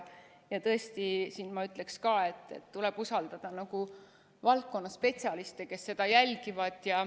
Ja tõesti, ma ütleksin siin ka, et tuleb usaldada valdkonna spetsialiste, kes seda jälgivad.